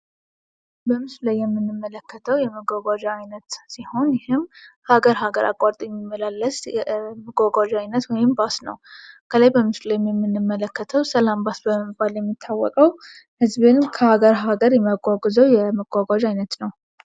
በምስሉ ላይ የምንመለከተው የመጓጓዣ አይነት ሲሆን፤ ይህም ሃገር ሃገር አቋርጦ የሚመላለስ መጓጓዣ ወይም ባስ ነው። ከላይ በምስሉ ላይም የምንመለከተው ሰላም ባስ በመባል የሚታወቀው ህዝብን ከሃገር ሃገር የሚያጓጉዘው የመጓጓዣ አይነት ነው።